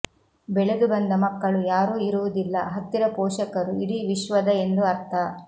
ಬೆಳೆದುಬಂದ ಮಕ್ಕಳು ಯಾರೂ ಇರುವುದಿಲ್ಲ ಹತ್ತಿರ ಪೋಷಕರು ಇಡೀ ವಿಶ್ವದ ಎಂದು ಅರ್ಥ